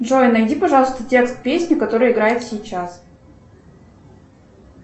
джой найди пожалуйста текст песни которая играет сейчас